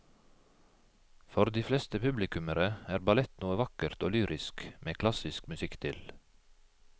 For de fleste publikummere er ballett noe vakkert og lyrisk med klassisk musikk til.